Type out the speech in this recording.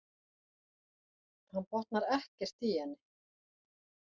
Hann botnar ekkert í henni.